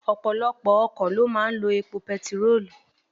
Ọ̀pọ̀lọpọ̀ ọkọ̀ lọ máa ń lọ epo bẹntiróòlù.